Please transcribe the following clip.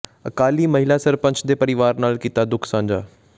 ਅਕਾਲੀ ਮਹਿਲਾ ਸਰਪੰਚ ਦੇ ਪਰਿਵਾਰ ਨਾਲ ਕੀਤਾ ਦੁੱਖ ਸਾਂਝਾ